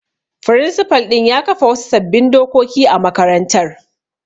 Firinsifal ɗin ya kafa wasu sabbin dokoki a makarantar.